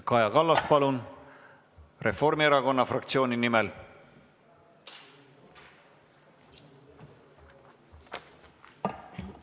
Kaja Kallas Reformierakonna fraktsiooni nimel, palun!